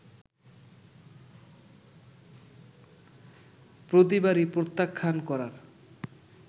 প্রতিবারই প্রত্যাখ্যান করার